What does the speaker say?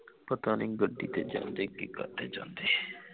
ਪਤਾ ਨਹੀਂ ਗੱਡੀ ਤੇ ਜਾਂਦੇ ਕੇ ਕਾਹਤੇ ਜਾਂਦੇ